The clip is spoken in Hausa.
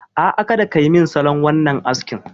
A'a, kada ka yi min wannan salon askin.